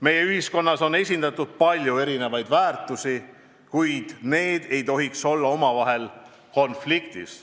Meie ühiskonnas on esindatud palju erinevaid väärtushinnanguid, kuid need ei tohiks olla omavahel konfliktis.